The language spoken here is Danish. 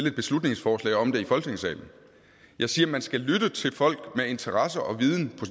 et beslutningsforslag om det i folketingssalen jeg siger at man skal lytte til folk med interesse og viden på